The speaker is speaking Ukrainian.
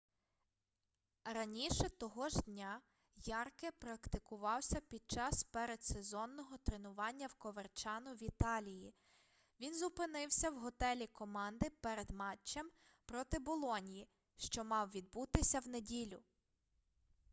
раніше того ж дня ярке практикувався під час передсезонного тренування в коверчано в італії він зупинився в готелі команди перед матчем проти болоньї що мав відбутися в неділю